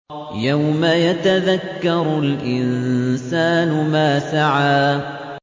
يَوْمَ يَتَذَكَّرُ الْإِنسَانُ مَا سَعَىٰ